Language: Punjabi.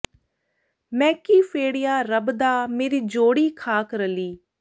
ਮੈਂ ਕੀ ਫੇੜਿਆ ਰੱਬ ਦਾ ਮੇਰੀ ਜੋੜੀ ਖ਼ਾਕ ਰਲੀ